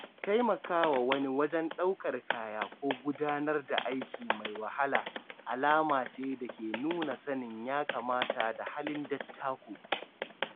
Taimakawa wani wajen ɗaukar kaya ko gudanar da aiki mai wahala alama ce da ke nuna sanin ya-kamata da halin dattako.